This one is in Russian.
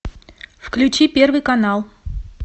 включи первый канал